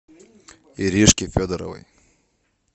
иришке федоровой